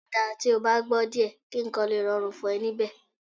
Ó dáa tí o bá gbọ́ díẹ̀ kí nǹkan lè rọrùn fún ẹ níbẹ̀